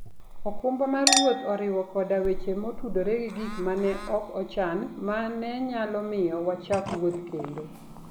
okumba mar wuoth oriwo koda weche motudore gi gik ma ne ok ochan ma ne nyalo miyo wachak wuoth kendo.